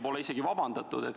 Pole isegi vabandatud.